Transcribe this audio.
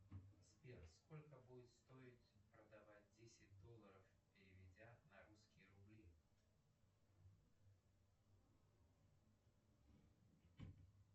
сбер сколько будет стоить продавать десять долларов переведя на русские рубли